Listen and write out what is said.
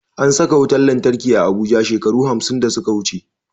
An saka wutan lantarki a abuja shekaru hamsin da suka wuche